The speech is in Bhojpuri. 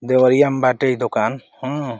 देवरिया में बाटे ई दोकान हाँ।